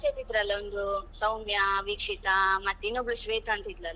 ನಮ್ಮ batch ಲ್ಲಿ ಇದ್ರಲ್ಲಾ ಒಂದು, ಸೌಮ್ಯ, ವೀಕ್ಷಿತಾ ಮತ್ತೆ ಇನ್ನೊಬ್ಳು ಶ್ವೇತಾ ಅಂತ ಇದ್ಲಲ್ಲಾ.